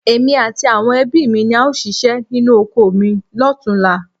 Èmi àti àwọn ẹbí mi ni a óò ṣíṣe nínú oko mi lọ́tunla